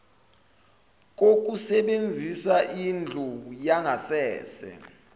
kokusebenzisa indlu yangasese